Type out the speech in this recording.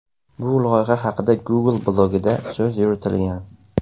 Bu loyiha haqida Google blogida so‘z yuritilgan.